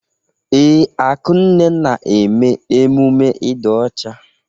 Ee, Akunne na-eme emume ịdị ọcha.